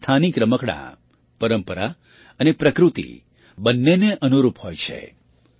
ભારતના સ્થાનિક રમકડાં પરંપરા અને પ્રકૃતિ બંને ને અનુરૂપ હોય છે